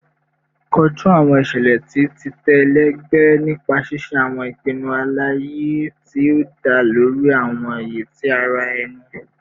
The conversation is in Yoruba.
Koju awọn iṣẹlẹ ti titẹ ẹlẹgbẹ nipa ṣiṣe awọn ipinnu alaye ti o da lori awọn iye ti ara ẹni